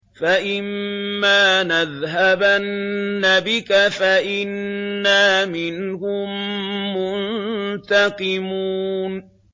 فَإِمَّا نَذْهَبَنَّ بِكَ فَإِنَّا مِنْهُم مُّنتَقِمُونَ